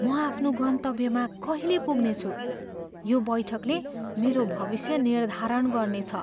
म आफ्नो गन्तव्यमा कहिले पुग्नेछु? यो बैठकले मेरो भविष्य निर्धारण गर्नेछ।